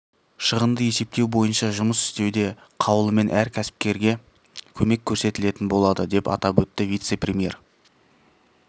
шығынды есептеу бойынша жұмыс істеуде қаулымен әр кәсіпкерге көмек көрсетілетін болады деп атап өтті вице-премьер